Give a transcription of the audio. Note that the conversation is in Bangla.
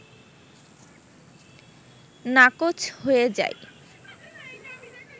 নাকচ হয়ে যায়